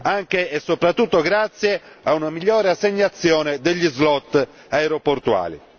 anche e soprattutto grazie a una migliore assegnazione degli slot aeroportuali.